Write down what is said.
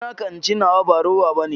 Ci naka in ce nawa ba rowa ɓane.